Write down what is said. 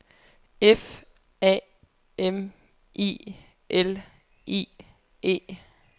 F A M I L I E